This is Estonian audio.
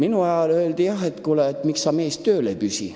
Minu ajal öeldi jah, et kuule, mees, miks sa tööl ei püsi.